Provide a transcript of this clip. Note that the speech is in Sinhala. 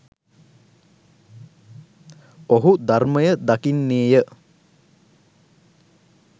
ඔහු ධර්මය දකින්නේ ය.